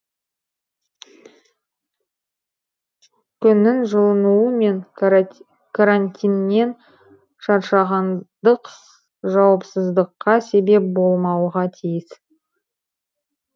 күннің жылынуы мен карантиннен шаршағандық жауапсыздыққа себеп болмауға тиіс